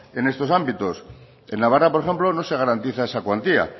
en estos ámbitos en navarra por ejemplo no se garantiza esa cuantía